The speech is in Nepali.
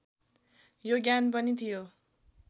यो ज्ञान पनि थियो